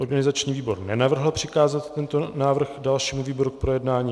Organizační výbor nenavrhl přikázat tento návrh dalšímu výboru k projednání.